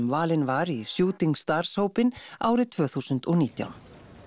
valin var í stars hópinn árið tvö þúsund og nítján